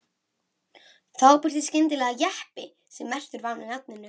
Þá birtist skyndilega jeppi sem merktur var með nafninu